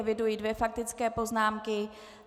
Eviduji dvě faktické poznámky.